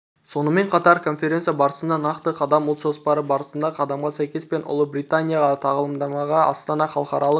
сонымен қатар конференция барысында нақты қадам ұлт жоспары барысында қадамға сәйкес пен ұлыбританияға тағылымдамаға астана халықаралық